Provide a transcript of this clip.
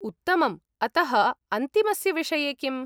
उत्तमम्। अतः अन्तिमस्य विषये किम्?